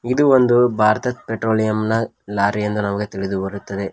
ಇದು ಒಂದು ಭಾರತದ್ ಪೆಟ್ರೋಲಿಯಂ ನ ಲಾರಿ ಎಂದು ನಮಗೆ ತಿಳಿದು ಬರುತ್ತದೆ.